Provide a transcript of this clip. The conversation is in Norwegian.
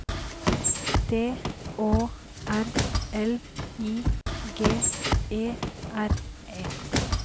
D Å R L I G E R E